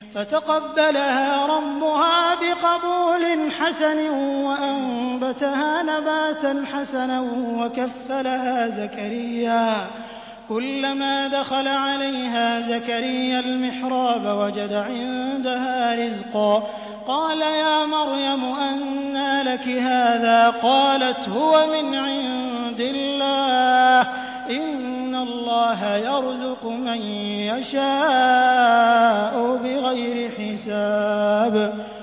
فَتَقَبَّلَهَا رَبُّهَا بِقَبُولٍ حَسَنٍ وَأَنبَتَهَا نَبَاتًا حَسَنًا وَكَفَّلَهَا زَكَرِيَّا ۖ كُلَّمَا دَخَلَ عَلَيْهَا زَكَرِيَّا الْمِحْرَابَ وَجَدَ عِندَهَا رِزْقًا ۖ قَالَ يَا مَرْيَمُ أَنَّىٰ لَكِ هَٰذَا ۖ قَالَتْ هُوَ مِنْ عِندِ اللَّهِ ۖ إِنَّ اللَّهَ يَرْزُقُ مَن يَشَاءُ بِغَيْرِ حِسَابٍ